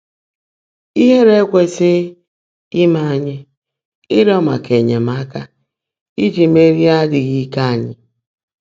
Íhèèré ékwèsị́ghị́ íme ányị́ ị́rị́ọ́ màká ényèmáka íjí mèèrí ádị́ghị́ íke ányị́